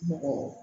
Mɔgɔ